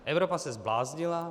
Evropa se zbláznila.